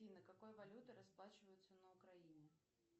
афина какой валютой расплачиваются на украине